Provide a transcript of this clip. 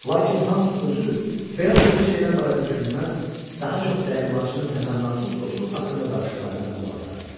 Lakin Hans özü belə xırda şeylər barədə düşünməz, daha çox dəyirmançının təmənnasız dostluq haqqında danışıqlarına qulaq asardı.